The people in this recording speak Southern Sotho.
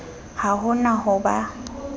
ha ho na ho ba